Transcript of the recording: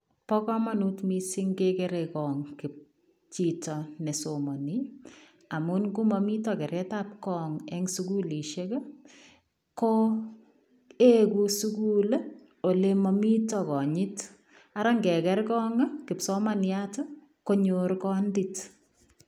Bo kamanut missing kegerei korong chitoo nesomanii amuun nda mamiten keret ab korong en sugulisheek ii ko egu sugul ii ole mamiten kanyiit ara ngekeer korong ii kipsomaniat konyoor kandiit.